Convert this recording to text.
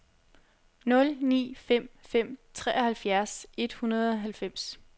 nul ni fem fem treoghalvfjerds et hundrede og halvfems